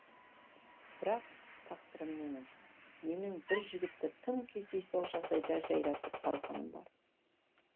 бірақ тақсырым менің менің бір жігітті тым кездейсоқ жағдайда жайратып салғаным бар